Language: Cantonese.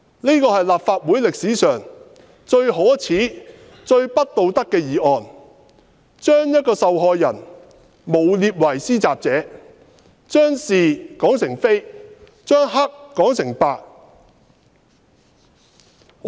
這是立法會歷史上最可耻、最不道德的議案，將一名受害人誣衊為施襲者，將是說成非，將黑說成白。